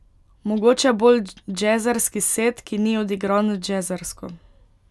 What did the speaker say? Mogoče bolj džezerski set, ki ni odigran džezersko.